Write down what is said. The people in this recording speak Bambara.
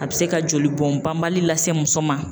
A bi se ka jolibɔn banbali lase muso ma